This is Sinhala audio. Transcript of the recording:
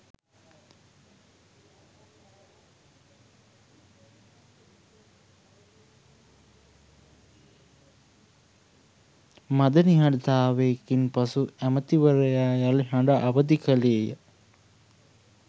මඳ නිහඬතාවයකින් පසු ඇමතිවරයා යලි හඬ අවදිකලේය